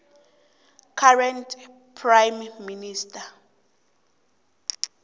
current prime minister